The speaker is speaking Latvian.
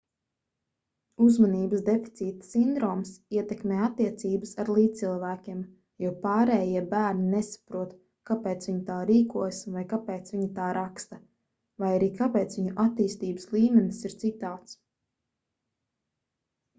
uzmanības deficīta sindroms ietekmē attiecības ar līdzcilvēkiem jo pārējie bērni nesaprot kāpēc viņi tā rīkojas vai kāpēc viņi tā raksta vai arī kāpēc viņu attīstības līmenis ir citāds